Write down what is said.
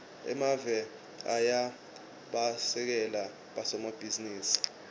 emave ayabasekela bosomabhizinisi